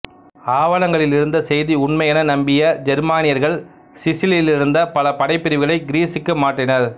ஆவணங்களிலிருந்த செய்தி உண்மையென நம்பிய ஜெர்மானியர்கள் சிசிலியிலிருந்த பல படைப்பிரிவுகளை கிரீசுக்கு மாற்றினர்